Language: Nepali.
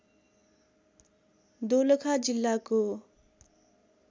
दोलखा जिल्लाको